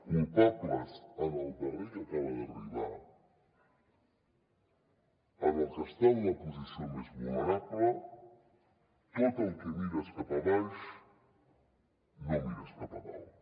culpables en el darrer que acaba d’arribar en el que està en la posició més vulnerable tot el que mires cap a baix no ho mires cap a dalt